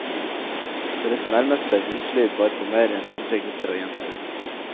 Deres nærmeste huslyd var på mer enn hundre gutter og jenter.